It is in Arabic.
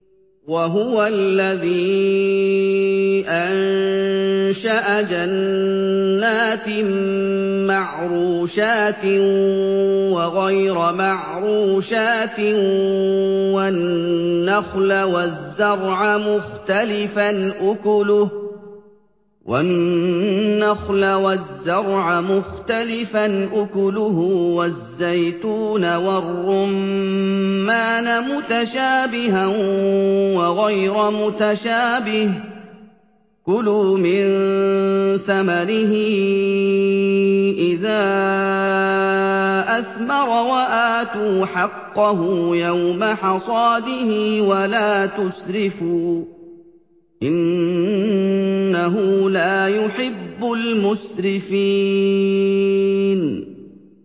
۞ وَهُوَ الَّذِي أَنشَأَ جَنَّاتٍ مَّعْرُوشَاتٍ وَغَيْرَ مَعْرُوشَاتٍ وَالنَّخْلَ وَالزَّرْعَ مُخْتَلِفًا أُكُلُهُ وَالزَّيْتُونَ وَالرُّمَّانَ مُتَشَابِهًا وَغَيْرَ مُتَشَابِهٍ ۚ كُلُوا مِن ثَمَرِهِ إِذَا أَثْمَرَ وَآتُوا حَقَّهُ يَوْمَ حَصَادِهِ ۖ وَلَا تُسْرِفُوا ۚ إِنَّهُ لَا يُحِبُّ الْمُسْرِفِينَ